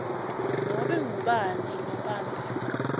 nobe ngubani lobambe